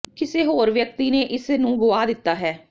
ਕਿਸੇ ਹੋਰ ਵਿਅਕਤੀ ਨੇ ਇਸ ਨੂੰ ਗੁਆ ਦਿੱਤਾ ਹੈ